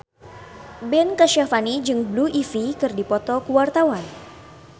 Ben Kasyafani jeung Blue Ivy keur dipoto ku wartawan